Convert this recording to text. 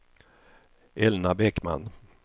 Elna Bäckman